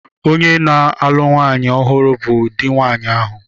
Onye na-alụ nwanyị ọhụrụ bụ di nwanyị ahụ.